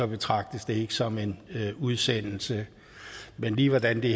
betragtes det ikke som en udsendelse men lige hvordan det